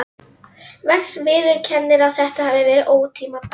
Viðurkennir að þetta hafi verið ótímabært.